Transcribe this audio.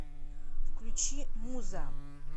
включи муза